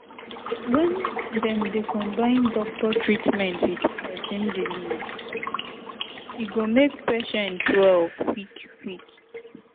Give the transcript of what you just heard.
when dem dey combine doctor treatment with person belief e go make patient well quick-quick.